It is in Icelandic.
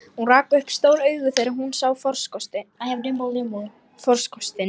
Hún rak upp stór augu þegar hún sá farkostinn.